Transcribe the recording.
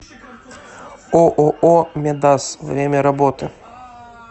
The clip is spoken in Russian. ооо медас время работы